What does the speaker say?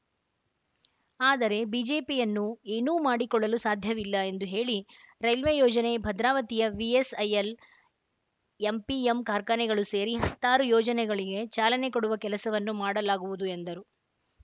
ಆದರೆ ಬಿಜೆಪಿಯನ್ನು ಏನೂ ಮಾಡಿಕೊಳ್ಳಲು ಸಾಧ್ಯವಿಲ್ಲ ಎಂದು ಹೇಳಿ ರೈಲ್ವೆ ಯೋಜನೆ ಭದ್ರಾವತಿಯ ವಿಎಸ್‌ಐಎಲ್ ಎಂಪಿಎಂ ಕಾರ್ಖಾನೆಗಳು ಸೇರಿ ಹತ್ತಾರು ಯೋಜನೆಗಳಿಗೆ ಚಾಲನೆ ಕೊಡುವ ಕೆಲಸವನ್ನು ಮಾಡಲಾಗುವುದು ಎಂದರು